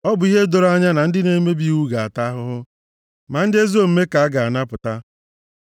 Ọ bụ ihe doro anya na ndị na-emebi iwu ga-ata ahụhụ, ma ndị ezi omume ka a ga-anapụta.